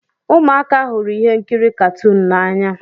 Ụmụaka hụrụ ihe nkiri katuun n'anya.